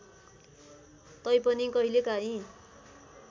तै पनि कहिलेकाहिँ